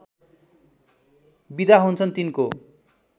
बिदा हुन्छन् तिनको